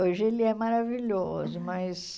Hoje ele é maravilhoso, mas...